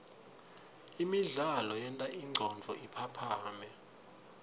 imidlalo yenta ingcondvo iphaphame